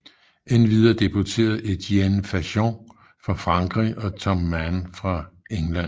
Endvidere deputeret Etienne Fajon fra Frankrig og Tom Mann fra England